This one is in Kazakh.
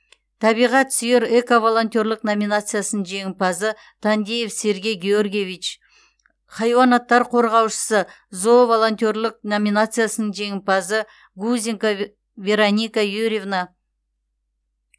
табиғат сүйер эко волонтерлік номинациясының жеңімпазы тандеев сергей георгиевич хайуанаттар қорғаушысы зоо волонтерлік номинациясының жеңімпазы гузенко вероника юрьевна